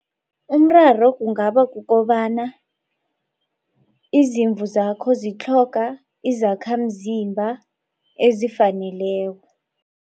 Umraro kungaba kukobana izimvu zakho zitlhoga izakhamzimba ezifaneleko.